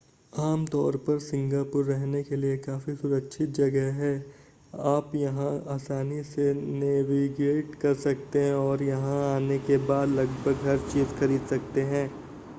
आम तौर पर सिंगापुर रहने के लिए काफ़ी सुरक्षित जगह है आप यहां आसानी से नेविगेट कर सकते हैं और यहां आने के बाद लगभग हर चीज़ खरीद सकते हैं